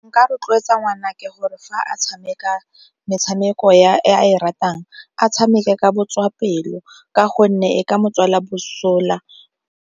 Nka rotloetsa ngwanake gore fa a tshameka metshameko e a e ratang a tshameke ka botswapelo ka gonne e ka mo tswela mosola.